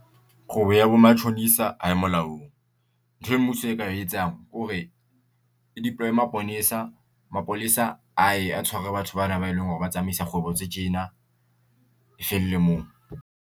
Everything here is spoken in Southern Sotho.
Kgwebo ya bo matjhonisa ha e molaong ntho e mmuso e ka etsang ke hore o deploy-e maponesa. Mapolesa a ye a tshware batho bana ba e leng hore ba tsamaisa kgwebong tse tjena e felle moo.